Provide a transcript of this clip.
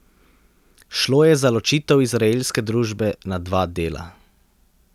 Šlo je za ločitev izraelske družbe na dva dela.